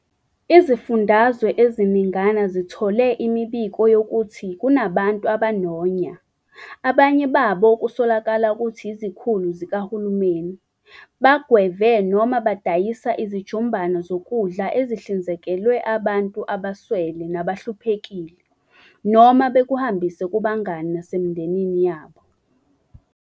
Izifundazwe eziningana zithole imibiko yokuthi kunabantu abanonya, abanye babo okusolakala ukuthi izikhulu zikahulumeni, bagweve noma badayisa izijumbana zokudla ezihlinzekelwe abantu abaswele nabahluphekile, noma bakuhambisa kubangani nasemindenini yabo.